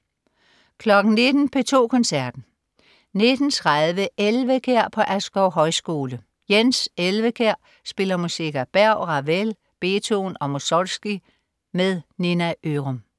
19.00 P2 Koncerten. 19.30 Elvekjær på Askov Højskole. Jens Elvekjær spiller musik af Berg, Ravel, Beethoven og Mussorgsky. Nina Ørum